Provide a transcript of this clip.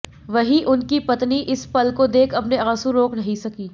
वहीं उनकी पत्नी इस पल को देख अपने आंसू रोक नहीं सकीं